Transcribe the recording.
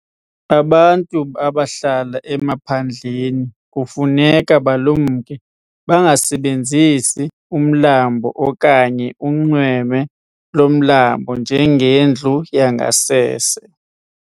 Abantu abahlala emaphandleni kufuneka balumke bangasebenzisi umlambo okanye unxweme lomlambo njengendlu yangasese.